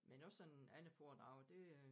Men også sådan andre foredrag det øh